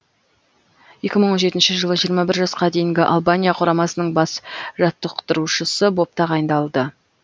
екі мың он жетінші жылы жиырма бір жасқа дейінгі албания құрамасының бас жаттықтырушысы боп тағайындалды